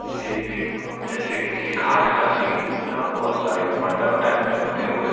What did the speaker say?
ये एक जैसे किसी घाट क सीन हैं यहाँ बोहुत सारे मंडप टाइप में बने हुए हैं।